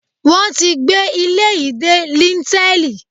Wọ́n tí gbé ilé yìí dé líńtẹ́ẹ̀lì